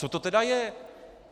Co to tedy je?